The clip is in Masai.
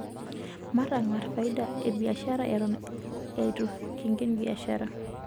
Matang'arr faida e biashara eton eitu kinken biashara.